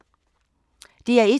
DR1